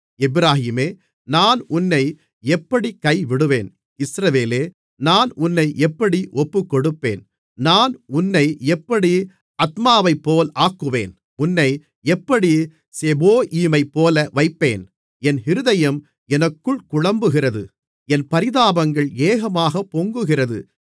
எப்பிராயீமே நான் உன்னை எப்படிக் கைவிடுவேன் இஸ்ரவேலே நான் உன்னை எப்படி ஒப்புக்கொடுப்பேன் நான் உன்னை எப்படி அத்மாவைப்போல் ஆக்குவேன் உன்னை எப்படி செபோயீமைப்போல வைப்பேன் என் இருதயம் எனக்குள் குழம்புகிறது என் பரிதாபங்கள் ஏகமாகப் பொங்குகிறது